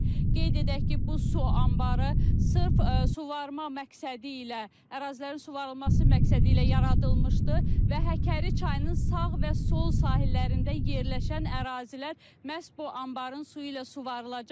Qeyd edək ki, bu su anbarı sırf suvarma məqsədi ilə ərazilərin suvarılması məqsədi ilə yaradılmışdı və Həkəri çayının sağ və sol sahillərində yerləşən ərazilər məhz bu anbarın suyu ilə suvarılacaq.